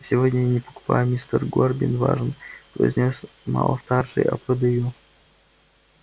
сегодня я не покупаю мистер горбин важно произнёс малфой старший а продаю